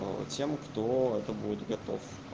тем кто это будет готов